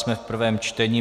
Jsme v prvém čtení.